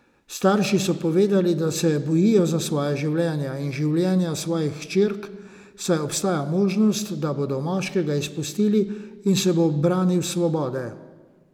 Starši so povedali, da se bojijo za svoja življenja in življenja svojih hčerk, saj obstaja možnost, da bodo moškega izpustili in se bo branil s svobode.